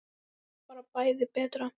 Bara bæði betra.